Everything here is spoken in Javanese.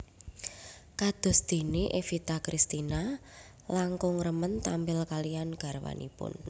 Kados déné Evita Cristina langkung remen tampil kaliyan garwanipun